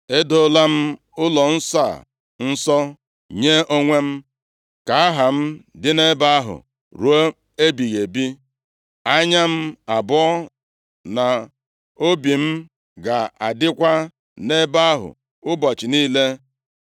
Edoola m ụlọnsọ a nsọ nye onwe m, ka Aha m dị nʼebe ahụ ruo ebighị ebi; anya m abụọ na obi m ga-adịkwa nʼebe ahụ ụbọchị niile.